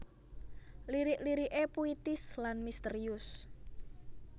Lirik lirik é puitis lan misterius